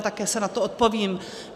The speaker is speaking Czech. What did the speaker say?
A také si na to odpovím.